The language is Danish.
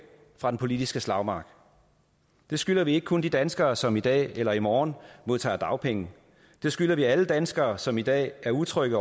fra den politiske slagmark det skylder vi ikke kun de danskere som i dag eller i morgen modtager dagpenge det skylder vi alle danskere som i dag er utrygge